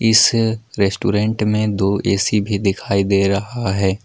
इस रेस्टोरेंट में दो ए_सी भी दिखाई दे रहा है।